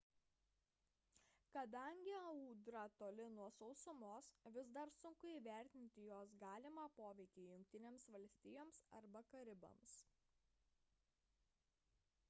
kadangi audra toli nuo sausumos vis dar sunku įvertinti jos galimą poveikį jungtinėms valstijoms arba karibams